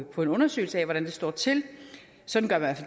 på en undersøgelse af hvordan det står til sådan gør man